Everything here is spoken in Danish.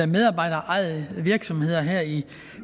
medarbejderejede virksomheder her i